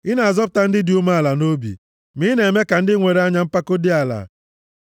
Ị na-azọpụta ndị dị umeala nʼobi, ma ị na-eme ka ndị nwere anya mpako dị ala.